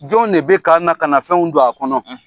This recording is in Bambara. Jɔn ne bɛ ka na ka na fɛnw don a kɔnɔ.